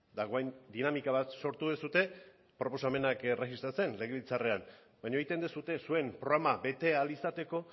dagoen dinamika bat sortu duzue proposamenak erregistratzen legebiltzarrean baina egiten duzue zuen programa bete ahal izateko